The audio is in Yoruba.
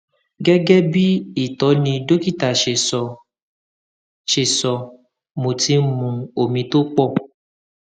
gẹgẹ bí ìtọni dókítà ṣe sọ ṣe sọ mo ti ń mu omi tó pọ